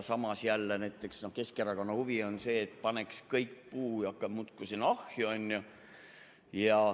Samas jälle näiteks Keskerakonna huvi on see, et paneks aga kõik puud muudkui sinna ahju.